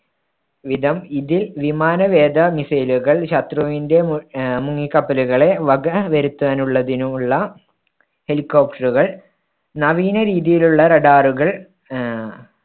വിധം ഇതിൽ വിമാനവേദ missile കൾ ശത്രുവിന്‍ടെ മു ആഹ് മുങ്ങിക്കപ്പലുകളെ വക വരുത്താനുള്ളതിനുമുള്ള helicopter കൾ നവീന രീതിയിലുള്ള radar കൾ ആഹ്